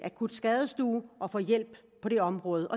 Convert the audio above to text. akutskadestue og får hjælp på det område